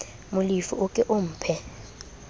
molefi o ke o mphe